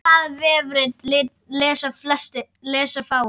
Það vefrit lesa fáir.